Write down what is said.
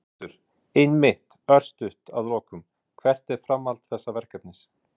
Þórhildur: Einmitt, örstutt að lokum, hvert er framhald þessa verkefnis?